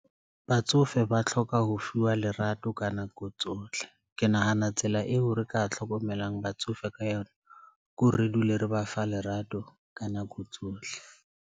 Batsofe ba tlhoka ho fiwa lerato ka nako tsohle. Ke nahana tsela eo re ka hlokomelang batsofe ka yona ke hore re dule re ba fa lerato ka nako tsohle.